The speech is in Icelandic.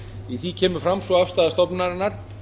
í því kemur fram sú afstaða stofnunarinnar